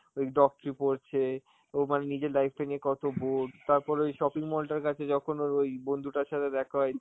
ওই doctary পড়ছে, ও মানে নিজের life টা নিয়ে কত bore, তারপরে ওই shopping mall টার কাছে যখন ওর ওই বন্ধুটার সাথে দেখা হয়